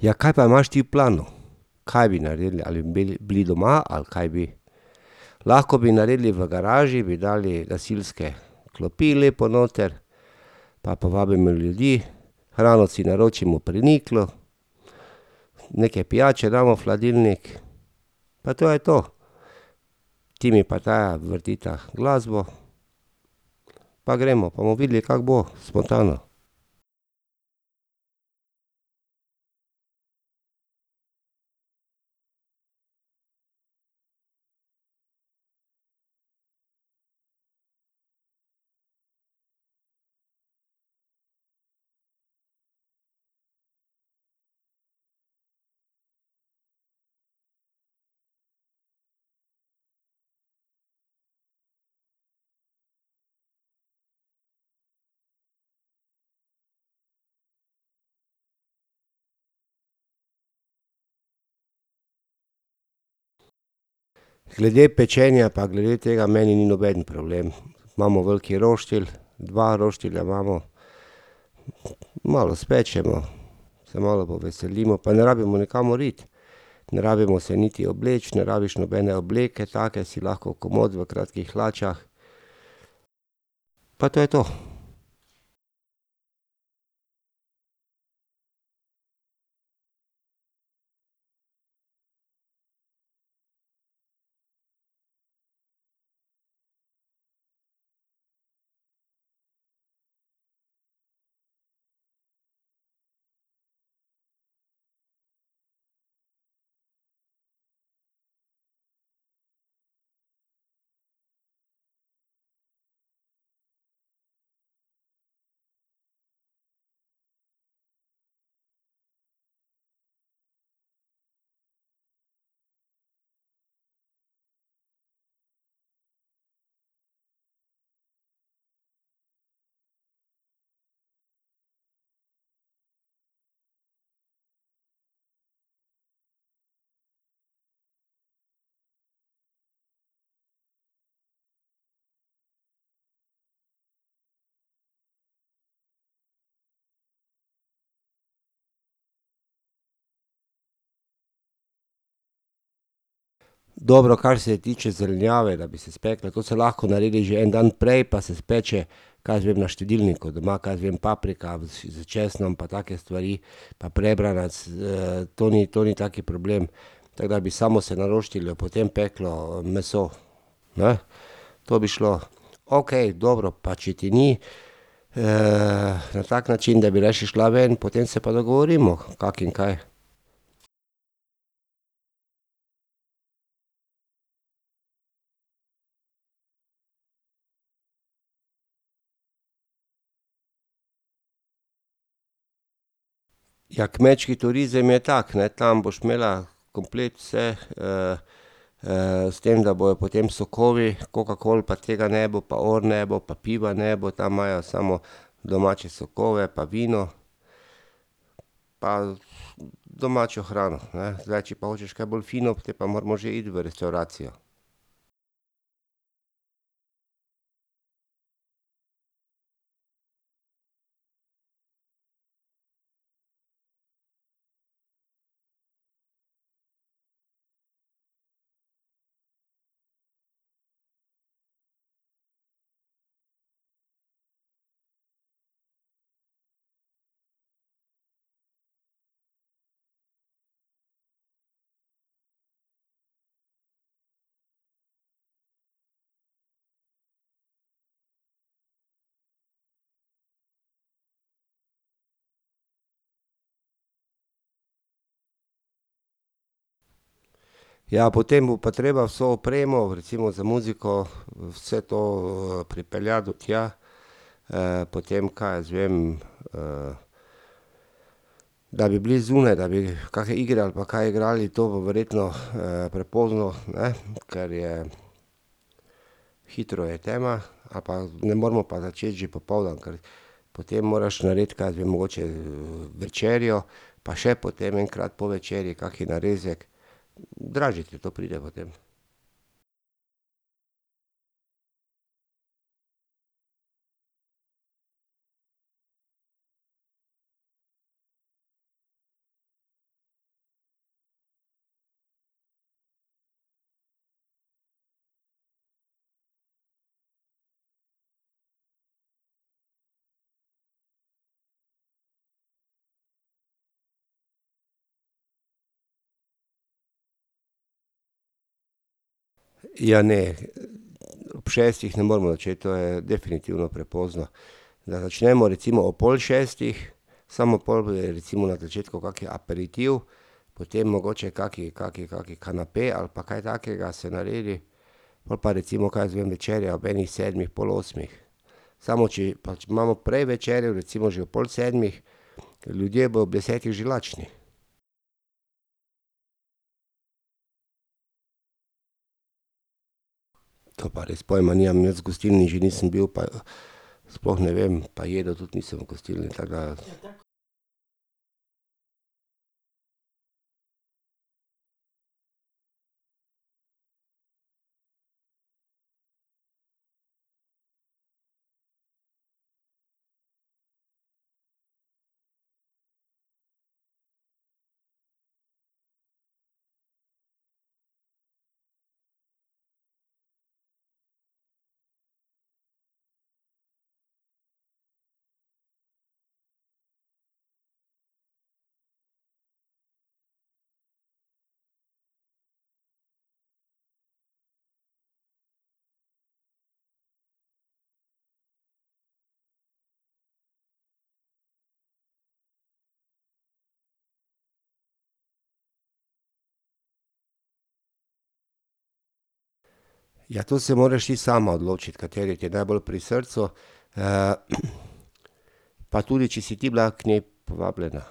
Ja, kaj pa imaš ti v planu? Kaj bi naredili? Ali bili doma ali kaj bi? Lahko bi naredili v garaži, bi dali gasilske klopi lepo noter pa povabimo ljudi, hrano si naročimo pri Niklu, nekaj pijače damo v hladilnik, pa to je to. Timi pa Taja vrtita glasbo pa gremo pa bomo videli, kako bo, spontano. Glede pečenja pa glede tega meni ni nobeden problem. Imamo veliki roštilj, dva roštilja imamo, malo spečemo, se malo poveselimo, pa ne rabimo nikamor iti. Ne rabimo se niti obleči, ne rabiš nobene obleke take, si lahko komot v kratkih hlačah. Pa to je to. Dobro, kar se tiče zelenjave, da bi se spekla, to se lahko naredi že en dan prej pa se speče, kaj jaz vem, na štedilniku doma, kaj jaz vem, paprika, s česnom pa take stvari pa prebranac, to ni, to ni tak problem. Tako da bi samo se na roštilju potem peklo meso, ne? To bi šlo. Okej, dobro, pa če ti ni, na tak način, da bi rajši šla ven, potem se pa dogovorimo, kako in kaj. Ja, kmečki turizem je tako, ne, tam boš imela komplet vse, s tem, da bojo potem sokovi, kokakol pa tega ne bo, pa or ne bo pa piva ne bo, tam imajo samo domače sokove pa vino pa domačo hrano, ne. Zdaj, če pa hočeš kaj bolj fino, te pa moramo že iti v restavracijo. Ja, potem bo pa treba vso opremo, recimo za muziko, vse to pripeljati do tja, potem, kaj jaz vem, da bi bili zunaj, da bi kakšne igre ali pa kaj igrali, to bo verjetno, prepozno, ne, ker je hitro je tema, ali pa ne moramo pa začeti že popoldan, ker potem moraš narediti, kaj jaz vem, mogoče večerjo pa še potem enkrat po večerji kaki narezek. Dražje te to pride potem. Ja ne ob šestih ne moremo začeti, to je definitivno prepozno. Da začnemo recimo ob pol šestih, samo pol bojo recimo na začetku kak aperitiv, potem mogoče kaki, kaki, kaki kanape, ali pa kaj takega se naredi, pol pa recimo, kaj jaz vem, večerja ob enih sedmih, pol osmih. Samo če, če imamo prej večerjo, recimo že ob pol sedmih, ljudje bojo ob desetih že lačni. To pa res pojma nimam, jaz v gostilni že nisem bil sploh ne vem, pa jedel tudi nisem v gostilni, tako da. Ja to se moraš ti sama odločiti, kateri ti je najbolj pri srcu, pa tudi, če si ti bila k njej povabljena.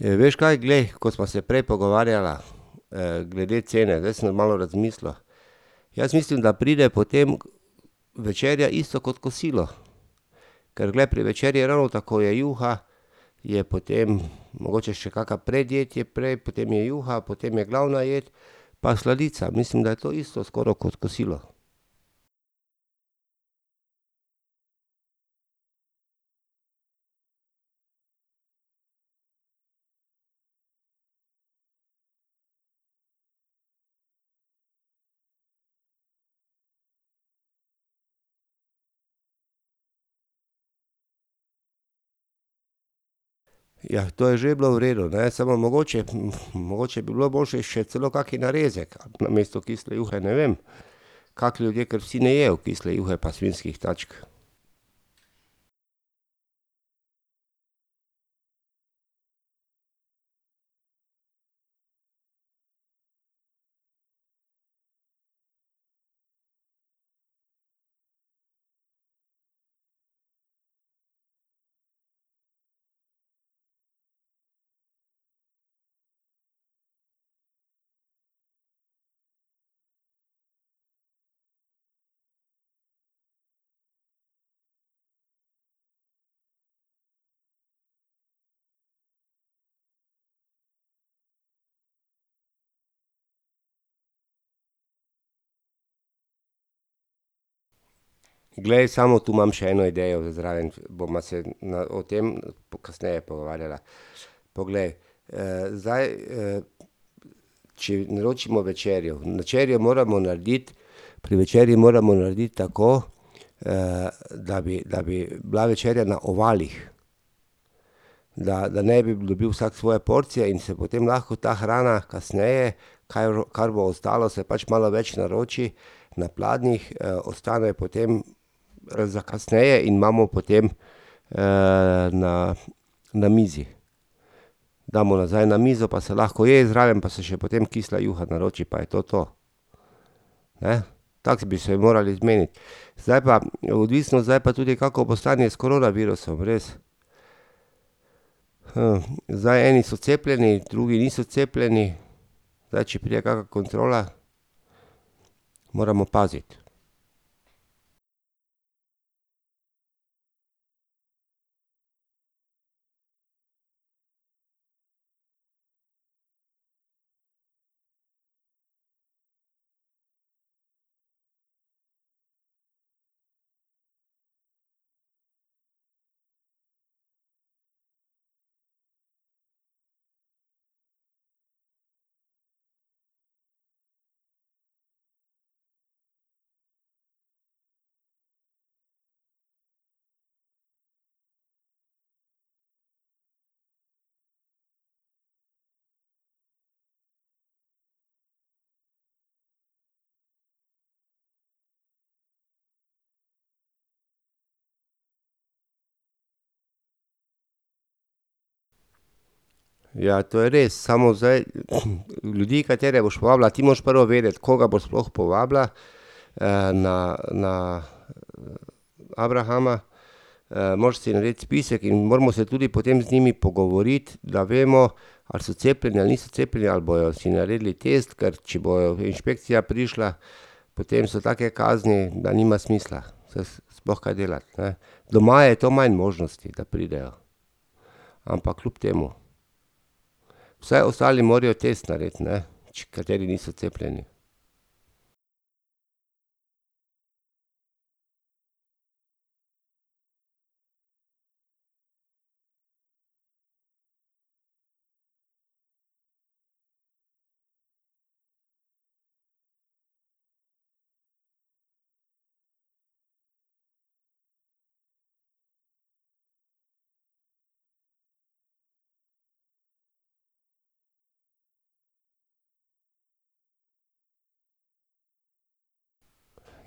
Veš kaj, glej, ko sva se prej pogovarjala, glede cene, zdaj sem malo razmislil. Jaz mislim, da pride potem večerja isto kot kosilo. Ker glej, pri večerji je ravno tako, je juha, je potem mogoče še kaka predjed je prej, potem je juha, potem je glavna jed pa sladica, mislim, da je to isto skoraj kot kosilo. Ja, to je že bilo v redu, ne, samo mogoče, mogoče bi bilo boljše še celo kak narezek namesto kisle juhe, ne vem. Kak ljudje, ker vsi ne jejo kisle juhe pa svinjskih tačk. Glej, samo to imam še eno idejo zraven, bova se na o tem pol kasneje pogovarjala. Poglej, zdaj, če naročimo večerjo, večerjo moramo narediti, pri večerji moramo narediti tako, da bi, da bi bila večerja na ovalih, da, da ne bi dobil vsak svoje porcije in se potem lahko ta hrana kasneje, kar bo ostalo, se pač malo več naroči, na pladnjih, ostane potem za kasneje in imamo potem, na na mizi. Damo nazaj na mizo pa se lahko je zraven pa se še potem kisla juha naroči pa je to to. Tako bi se morali zmeniti. Zdaj pa odvisno zdaj pa tudi, kako bo stanje s koronavirusom, res. zdaj eni so cepljeni, drugi niso cepljeni, zdaj če pride kaka kontrola? Moramo paziti. Ja, to je res, samo zdaj ljudi, katere boš povabila, ti moraš prvo vedeti, kaj boš sploh povabila, na, na, abrahama, moraš si narediti spisek in moramo se tudi potem z njimi pogovoriti, da vemo, ali so cepljeni ali niso cepljeni ali bojo si naredili test, ker če bo inšpekcija prišla, potem so take kazni, da nima smisla sploh kaj delati, ne. Doma je to manj možnosti, da pridejo, ampak kljub temu. Vsaj ostali morajo test narediti, ne. Pač kateri niso cepljeni.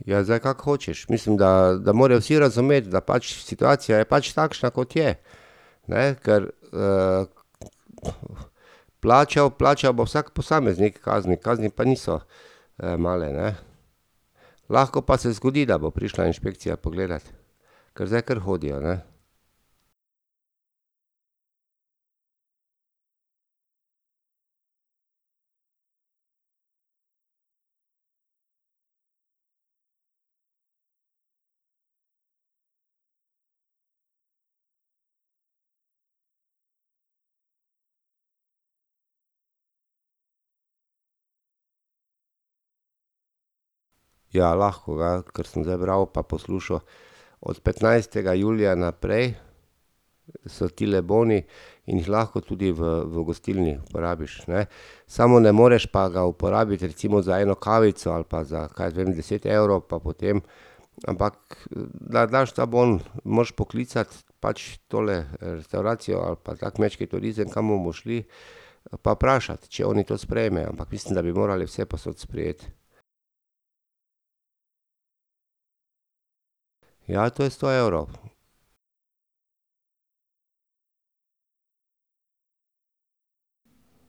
Ja, zdaj, kak hočeš, mislim, da, da morajo vsi razumeti, da pač situacija je pač takšna, kot je. Ne, ker, plačal, plačal bo vsak posameznik kazni, kazni pa niso, male, ne. Lahko pa se zgodi, da bo prišla inšpekcija pogledat, ker zdaj kar hodijo, ne. Ja, lahko, ga, ker sem zdaj bral pa poslušal od petnajstega julija naprej so tile boni in jih lahko tudi v, v gostilni porabiš, ne. Samo ne moreš pa ga uporabiti recimo za eno kavico ali pa za, kaj jaz vem deset evrov pa potem, ampak da daš ta bom, moraš poklicati pač tole restavracijo ali pa ta kmečki turizem, kam bomo šli, pa vprašati, če oni to sprejmejo, ampak mislim, da bi morali vsepovsod sprejeti. Ja, to je sto evrov.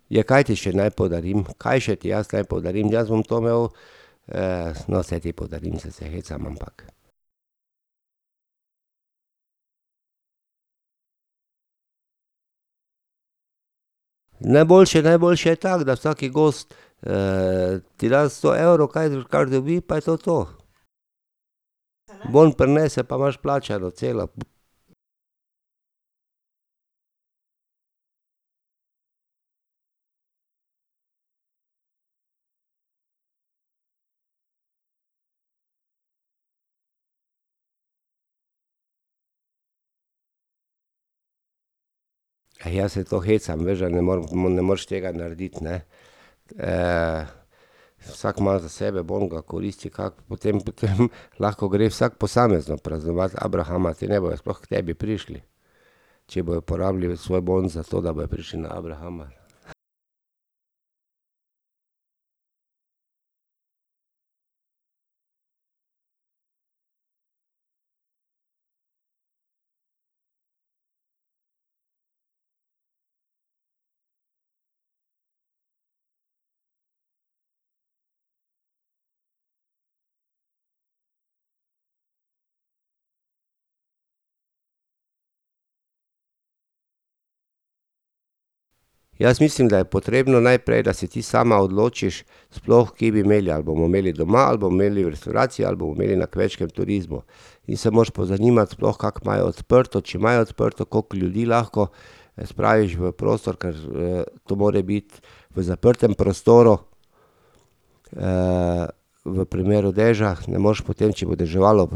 Ja, kaj ti še naj podarim, kaj še ti jaz naj podarim, jaz bom to imel, no, saj ti podarim, saj se hecam, ampak ... Najboljše, najboljše je tako, da vsak gost, ti da sto evrov, kar dobi, pa je to to. Bon prinese pa imaš plačano celo. Eh, jaz se to hecam, veš, da ne morem, ne moreš tega narediti, ne. vsak ima za sebe bon, ga koristi, kako, potem potem lahko gre vsak posamezno praznovati abrahama, te ne bojo sploh k tebi prišli. Če bojo porabili svoj bon za to, da bojo prišli na abrahama. Jaz mislim, da je potrebno, najprej, da se ti sama odločiš sploh, kje bi imeli, ali bomo imeli doma, ali bomo imeli v restavraciji, ali bomo imeli na kmečkem turizmu. Ti se moraš pozanimati sploh, kako imajo odprto, če imajo odprto, koliko ljudi lahko spraviš v prostor, ker, to more biti v zaprtem prostoru, v primeru dežja, ne moreš potem, če bo deževalo,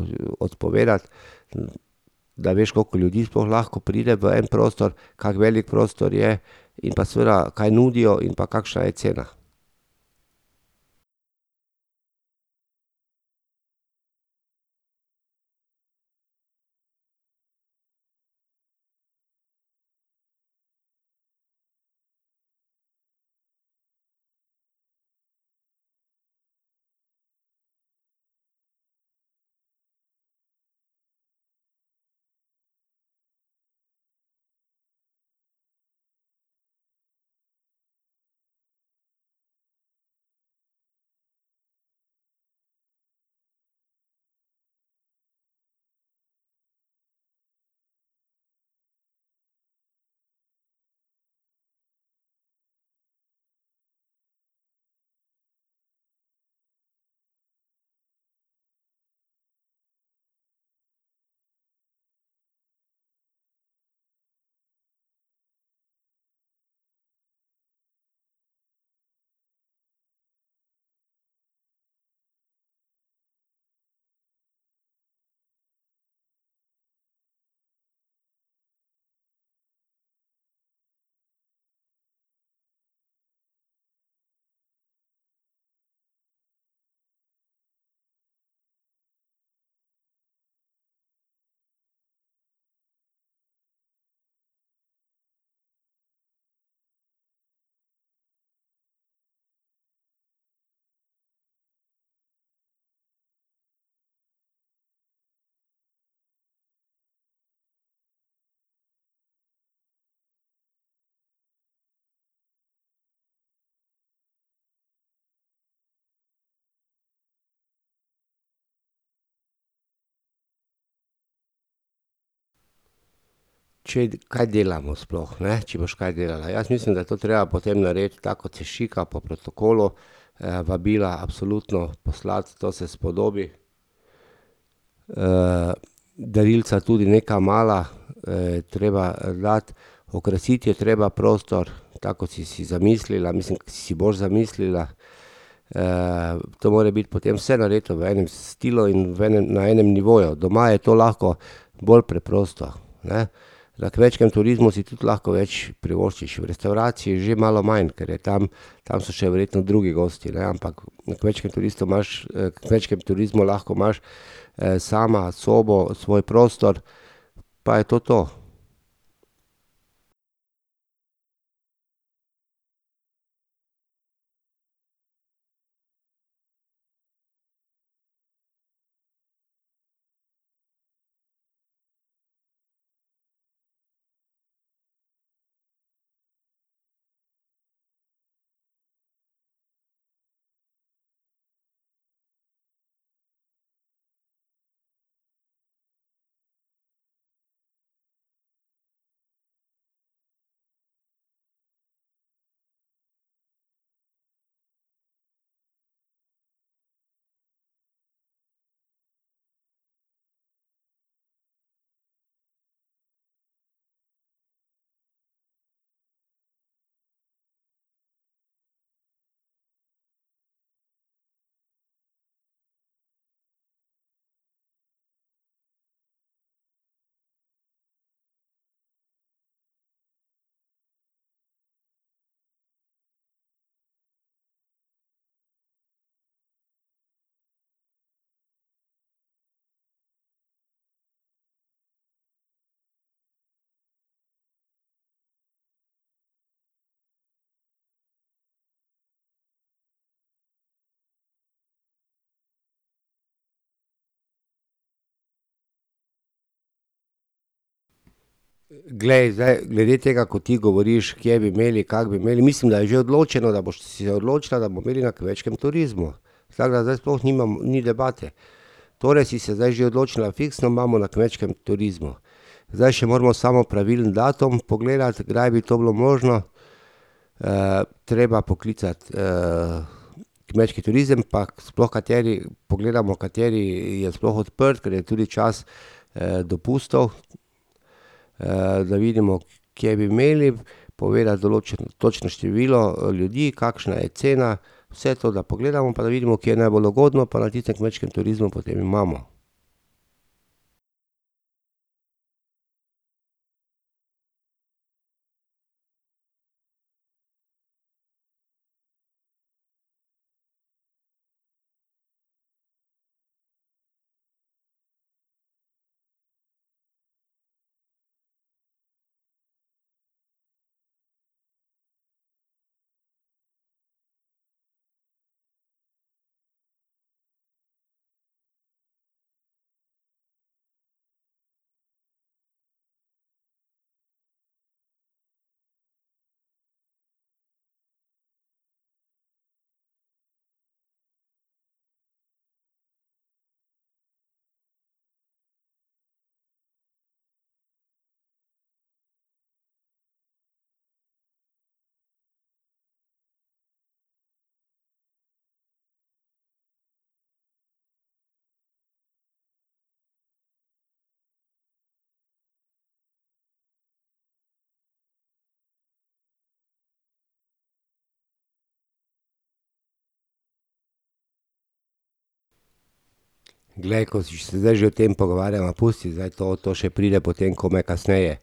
odpovedati . Da veš, koliko ljudi sploh lahko pride v en prostor, kako velik prostor je in pa seveda kaj nudijo in pa kakšna je cena. Če, kaj delamo sploh, ne. Če boš kaj delala, jaz mislim, da je to treba potem narediti, tako kot se šika, po protokolu, vabila absolutno poslati, to se spodobi. darilca tudi neka mala, je treba dati, okrasiti je treba prostor, tako kot si si zamislila, mislim, si boš zamislila. to more biti potem vse narejeno v enem stilu in v enem, na enem nivoju, doma je to lahko bolj preprosto, ne. Na kmečkem turizmu si tudi lahko več privoščiš, v restavraciji že malo manj, ker je tam, tam so še verjetno drugi gostje, ne, ampak na kmečkem turistu imaš, kmečkem turizmu lahko imaš, sama sobo, svoj prostor pa je to to. Glej, zdaj glede tega, ko ti govoriš, kje bi imeli, kako bi imeli, mislim, da je že odločeno, da boš se odločila, da bomo imeli na kmečkem turizmu. Tako da zdaj sploh ni debate. Torej si se zdaj že odločila fiksno, imamo na kmečkem turizmu. Zdaj še moramo samo pravilen datum pogledati, kdaj bi to bilo možno, treba poklicati, kmečki turizem pa sploh kateri, pogledamo, kateri je sploh odprt, ker je tudi čas, dopustov, da vidimo, kje bi imeli, povedati točno število, ljudi, kakšna je cena, vse to, da pogledamo pa da vidimo, kje je najbolj ugodno, pa na tistem kmečkem turizmu potem imamo. Glej, ko se zdaj že o tem pogovarjava, pusti zdaj to, to še pride potem komaj kasneje.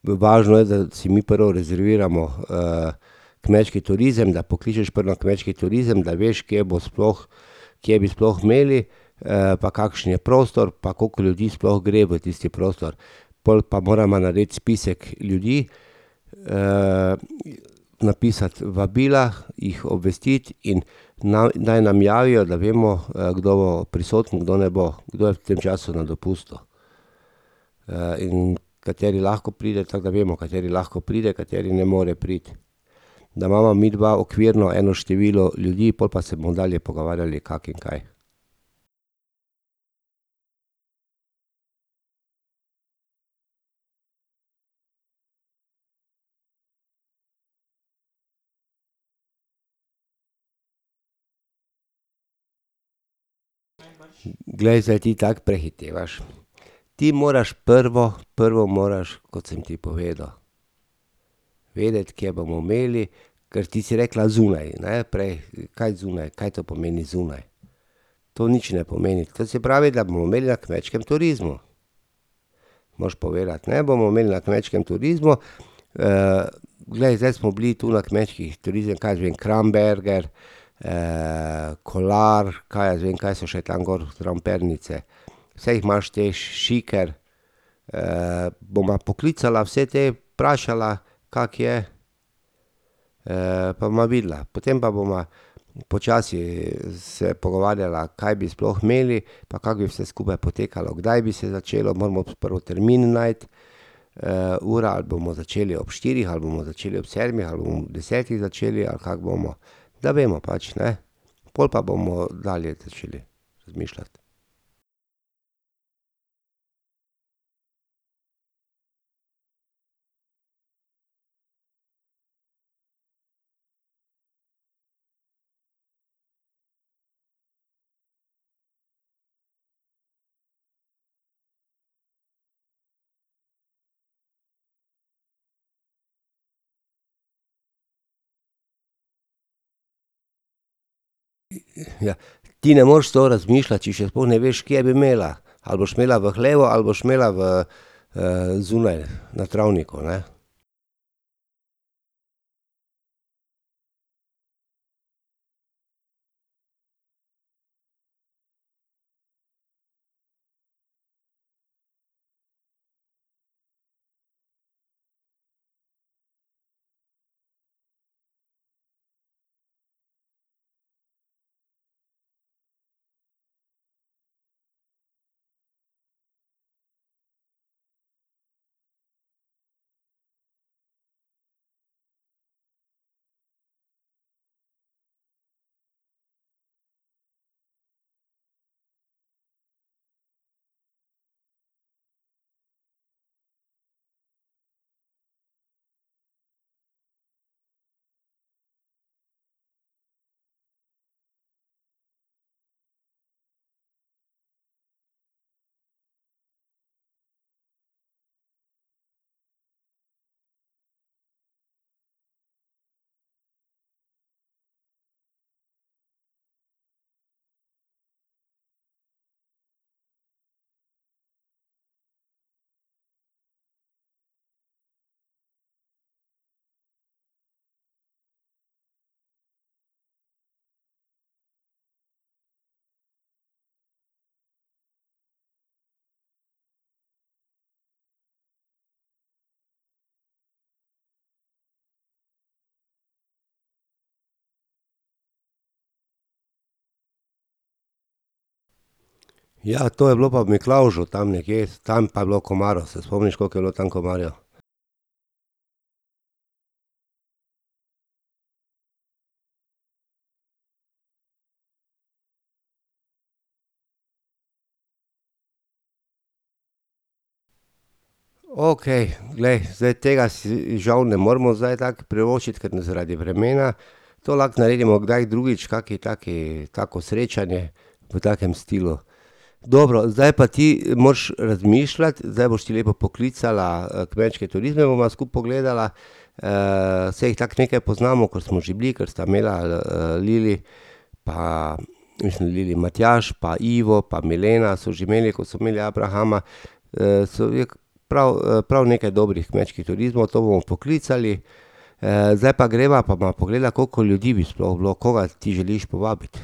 V važno je, da si mi prvo rezerviramo, kmečki turizem, da pokličeš pol na kmečki turizem, da veš, kje bo sploh, kje bi sploh imeli, pa kakšen je prostor pa koliko ljudi sploh gre v tisti prostor. Pol pa morava narediti spisek ljudi, napisati vabila, jih obvestiti in naj, naj nam javijo, da vemo, kdo bo prisoten, kdo ne bo, kdo je v tem času na dopustu, in kateri lahko pride, tako da vemo, kateri lahko pride, kateri ne more priti. Da imava midva okvirno eno število ljudi, pol pa se bomo dalje pogovarjali, kako in kaj. Glej, zdaj ti tako prehitevaš, ti moraš prvo, prvo moraš, kot sem ti povedal, vedeti, kje bomo imeli, ker ti si rekla zunaj, ne, prej, kaj zunaj, kaj to pomeni zunaj. To nič ne pomeni, to se pravi, da bomo imeli na kmečkem turizmu. Moraš povedati, ne, bomo imeli na kmečkem turizmu, glej, zdaj smo bili tu na kmečkih turizmih, kaj jaz vem, Kramberger, Kolar, kaj jaz vem, kaj so še tako gor zraven Pernice, saj jih imaš te, Šiker, bova poklicala vse te, vprašala, kako je, pa bova videla, potem pa bova počasi se pogovarjala, kaj bi sploh imeli pa kako bi vse skupaj potekalo, kdaj bi se začelo, moramo prvo termin najti, ura, ali bomo začeli ob štirih ali bomo začeli ob sedmih ali bomo ob desetih začeli ali kako bomo. Da vemo, pač ne. Pol pa bomo dalje začeli razmišljati. Ja, ti ne moreš to razmišljati, če še sploh ne veš, kje bi imela. Ali boš imela v hlevu ali boš imela v, zunaj na travniku, ne. Ja to je bilo pa v Miklavžu tam nekje, tam pa je bilo komarjev, se spomniš, kako je bilo tam komarjev? Okej, glej, zdaj tega si žal ne moremo zdaj tako privoščiti, ker ne zaradi vremena. To lahko naredimo kdaj drugič, kaki taki tako srečanje v takem stilu. Dobro, zdaj pa ti moraš, razmišljati, zdaj boš ti lepo poklicala, kmečke turizme bova skupaj pogledala. saj jih tako nekaj poznamo, ker smo že bili, ker sta imela, Lili pa, mislim, Lili, Matjaž pa Ivo pa Milena so že imeli, ko so imeli abrahama. so je k prav prav nekaj dobrih kmečkih turizmov, to bomo poklicali, zdaj pa greva pa bova pogledala, koliko ljudi bi sploh bilo, koga ti želiš povabiti?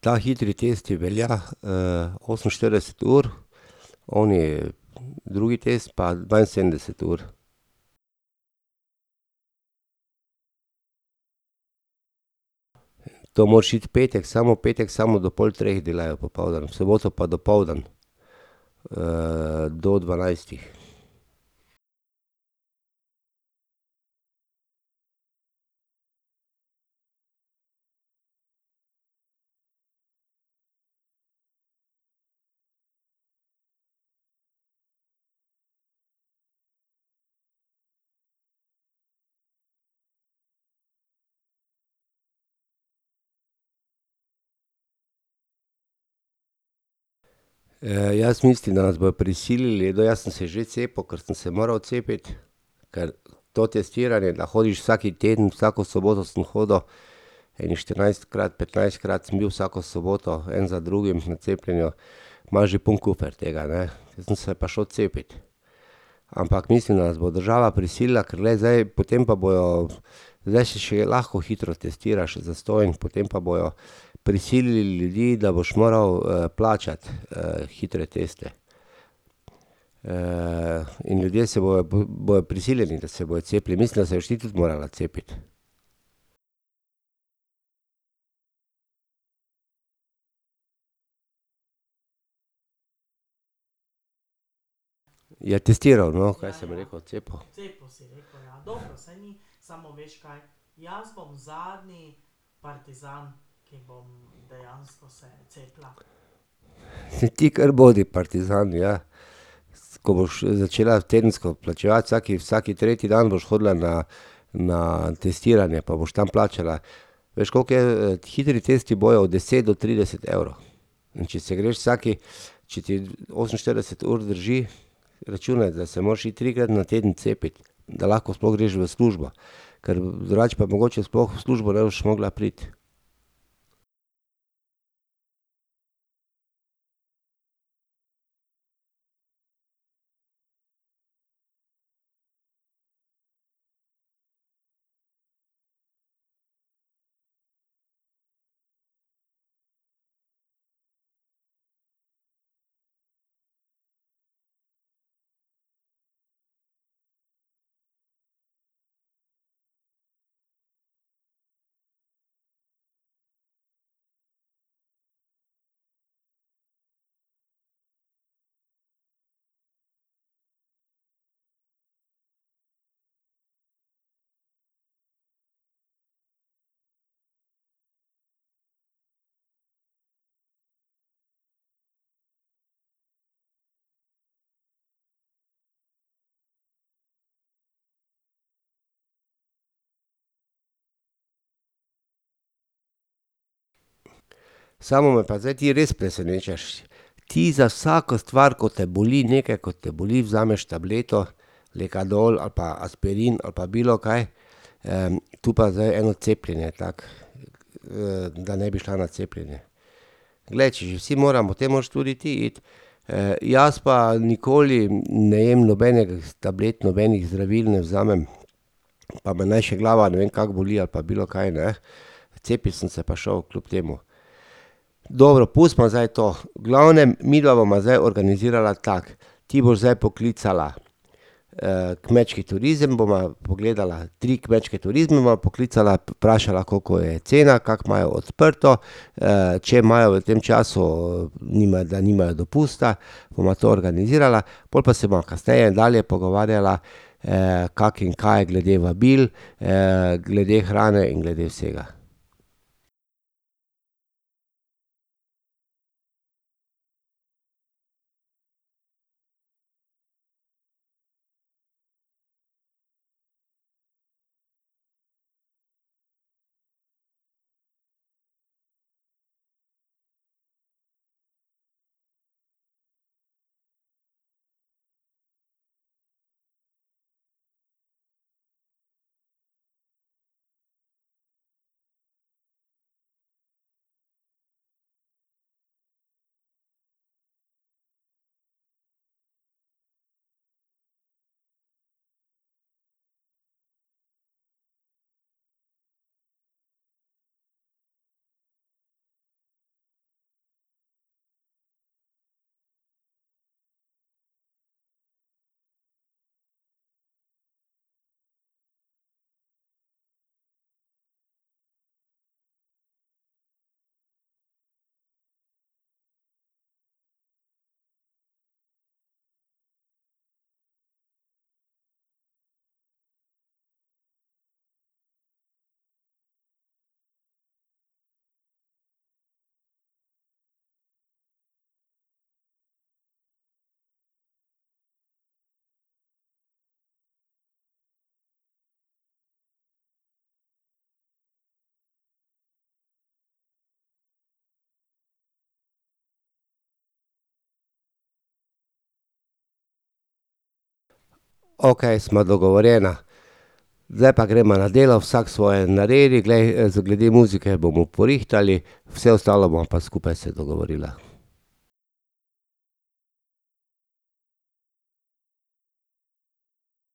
Ta hitri test ti velja, oseminštirideset ur oni drugi test pa dvainsedemdeset ur. To moraš iti v petek, samo petek samo do pol treh delajo, popoldan, v soboto pa dopoldan. do dvanajstih. jaz mislim, da nas bojo prisilili, jaz sem se že cepil, ker sem se moral cepiti, ker to testiranje, da hodiš vsak teden, vsako soboto sem hodil ene štirinajstkrat, petnajstkrat sem bil vsako soboto en za drugim na cepljenju, imaš že poln kufer tega, ne, sem se pa šel cepit. Ampak mislim, da nas bo država prisila, ker glej, zdaj potem pa bojo, zdaj se še lahko hitro testiraš, je zastonj, potem pa bojo prisilili ljudi, da boš moral, plačati, hitre teste. in ljudje se bojo, bojo prisiljeni, da se bojo cepili, mislim, da se boš ti tudi morala cepiti. Ja testiral, no, kaj sem rekel cepil? Ti kar bodi partizan, ja. S ko boš začela tedensko plačevati, vsak vsak tretji dan boš hodila na na testiranje pa boš tam plačala. Veš, koliko je, hitri tisto bojo od deset do trideset evrov. In če se greš vsak, če ti oseminštirideset ur zdrži, računaj, da se moraš iti trikrat na teden cepit, da lahko sploh greš v službo. Ker drugače pa mogoče sploh v službo ne boš mogla priti. Samo me pa ti zdaj ti res presenečaš. Ti za vsako stvar, ko te boli, nekaj, ko te boli, vzameš tableto, lekadol ali pa aspirin ali pa bilokaj. tu pa zdaj eno cepljenje tako, da ne bi šla na cepljenje. Glej, če že vsi moramo, te moraš tudi ti iti. jaz pa nikoli ne jem nobenih tablet, nobenih zdravil ne vzamem, pa me naj še glava ne vem kako boli pa bilokaj, ne, cepit sem se pa šel, kljub temu. Dobro pustimo zdaj to, v glavnem midva bova zdaj organizirala tako, ti boš zdaj poklicala, kmečki turizem, bova pogledala tri kmečke turizme, bova poklicala pa vprašala, koliko je cena, kakor imajo odprto, če imajo v tem času, ni, da nimajo dopusta, bova to organizirala pol pa se bova kasneje dalje pogovarjala, kako in kaj glede vabil, glede hrane in glede vsega. Okej sva dogovorjena. Zdaj pa gremo na delo, vsak svoje naredi, glej, zdaj glede muzike bomo porihtali, vse ostalo bova pa skupaj se dogovorila.